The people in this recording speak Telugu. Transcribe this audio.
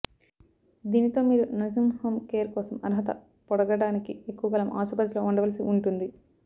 దీనితో మీరు నర్సింగ్ హోమ్ కేర్ కోసం అర్హత పొడగడానికి ఎక్కువకాలం ఆసుపత్రిలో ఉండవలసి ఉంటుంది